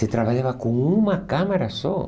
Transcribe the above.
Se trabalhava com uma câmera só.